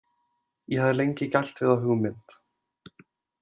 Ég hafði lengi gælt við þá hugmynd.